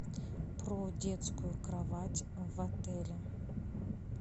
про детскую кровать в отеле